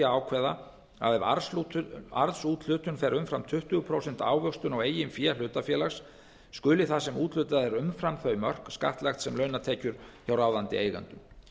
ákveða að ef arðsúthlutun fer umfram tuttugu prósent ávöxtun á eigin fé hlutafélags skuli það sem úthlutað er umfram þau mörk skattlagt sem launatekjur hjá ráðandi eigendum